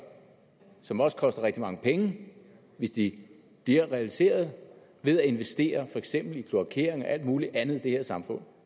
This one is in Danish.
som også koster rigtig mange penge hvis de bliver en realitet og ved at investere for eksempel i kloakering og alt muligt andet i det her samfund